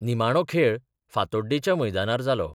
निमाणो खेळ फातोड्डेंच्या मैदानार जालो.